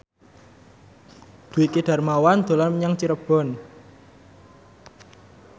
Dwiki Darmawan dolan menyang Cirebon